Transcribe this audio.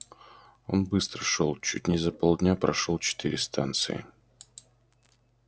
он быстро шёл чуть не за полдня прошёл четыре станции